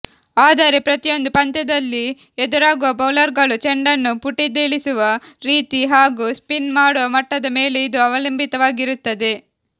ಆದರೆ ಪ್ರತಿಯೊಂದು ಪಂದ್ಯದಲ್ಲಿ ಎದುರಾಗುವ ಬೌಲರ್ಗಳು ಚೆಂಡನ್ನು ಪುಟಿದೇಳಿಸುವ ರೀತಿ ಹಾಗೂ ಸ್ಪಿನ್ ಮಾಡುವ ಮಟ್ಟದ ಮೇಲೆ ಇದು ಅವಲಂಬಿತವಾಗಿರುತ್ತದೆ